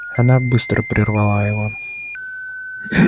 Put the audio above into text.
она быстро прервала его